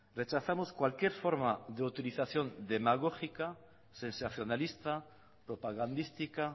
rechazamos cualquier forma de utilización demagógica sensacionalista propagandística